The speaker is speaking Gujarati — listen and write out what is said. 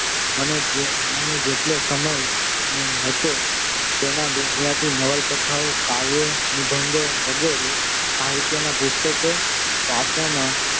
મને જેટલો સમય મળતો હતો તેમાં ગુજરાતી નવલકથાઓ કાવ્યો, નિબંધો વગેરે સાહિત્યનાં પુસ્તકો વાંચવામાં